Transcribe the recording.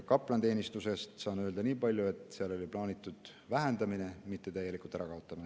Kaplaniteenistuse kohta saan öelda nii palju, et seda plaaniti vähendada, mitte täielikult ära kaotada.